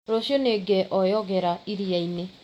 Rũciũ nĩngeoyogera iria-inĩ